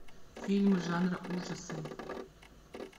фильм жанра ужасы